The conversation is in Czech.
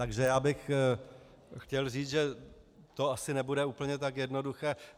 Takže bych chtěl říct, že to asi nebude úplně tak jednoduché.